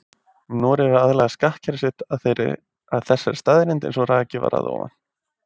Noregur hefur aðlagað skattkerfi sitt að þessari staðreynd eins og rakið var að ofan.